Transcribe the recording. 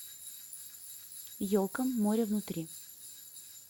елка моревнутри